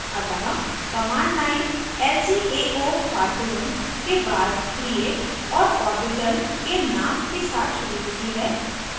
अतः command line lcaocartoon के बाद create और ऑर्बिटल के नाम के साथ शुरू होती है